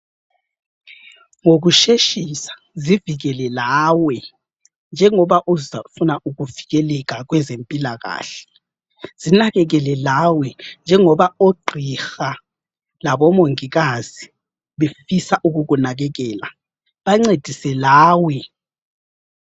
Ngokusheshisa zivikele lawe njengoba uzafuna ukuvikeleka kwezempilakahle, zinakekele lawe njengoba ogqiha labomongikazi befisa ukukunakekela, bancedise lawe.